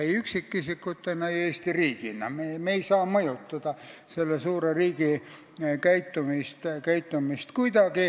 Me ei saa kuidagi mõjutada selle suure riigi käitumist.